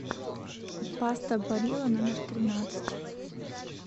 паста барилла номер тринадцать